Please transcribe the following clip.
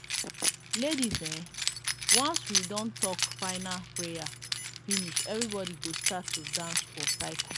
ladies um once we don talk final prayer finish everybody go start to dance for cycle